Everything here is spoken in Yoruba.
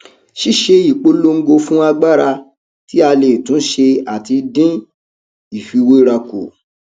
ṣíṣe ìpolongo fún agbára tí a lè tún ṣe àti dín ìfiwéra kù